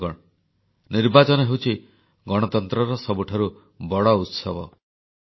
ବନ୍ଧୁଗଣ ନିର୍ବାଚନ ହେଉଛି ଗଣତନ୍ତ୍ରର ସବୁଠାରୁ ବଡ଼ ଉତ୍ସବ